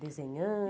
Desenhando?